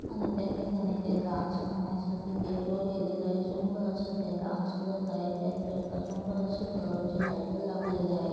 आणि त्या ठिकाणी त्या डान्स करण्यासाठी ते स्टेज वर गेलेले आहेत. सुंदर असा ते डांस करत आहेत त्याच साइड सुंदर असे कलर चे लाइट लागलेले आहेत.